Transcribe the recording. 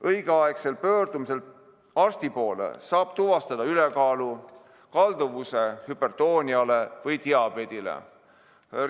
Õigel ajal arsti poole pöördudes saab tuvastada ülekaalu, kalduvuse hüpertooniale või diabeedile,